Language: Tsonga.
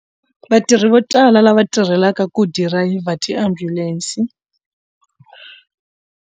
Vatirhi vo tala lava tirhelaka ku dirayivha tiambulense.